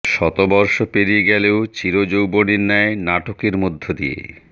শতবর্ষ পেরিয়ে গেলেও চির যৌবনের ন্যায় নাটকের মধ্য দিয়ে